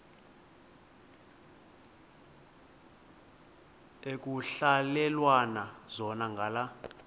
ekuhhalelwana zona ngala